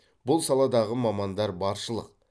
бұл саладағы мамандар баршылық